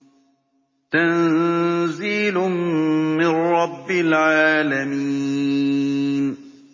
تَنزِيلٌ مِّن رَّبِّ الْعَالَمِينَ